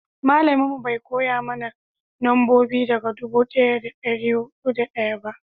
malamin mu bai koya mana nambobi daga dubu daya da dari hudu da daya ba